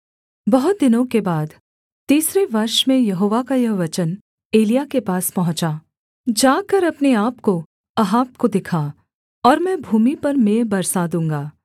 बहुत दिनों के बाद तीसरे वर्ष में यहोवा का यह वचन एलिय्याह के पास पहुँचा जाकर अपने आपको अहाब को दिखा और मैं भूमि पर मेंह बरसा दूँगा